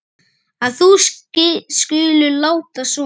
að þú skulir láta svona.